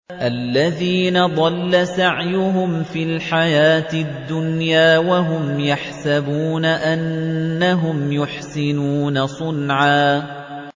الَّذِينَ ضَلَّ سَعْيُهُمْ فِي الْحَيَاةِ الدُّنْيَا وَهُمْ يَحْسَبُونَ أَنَّهُمْ يُحْسِنُونَ صُنْعًا